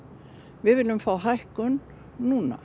við viljum fá hækkun núna